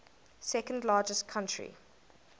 second largest country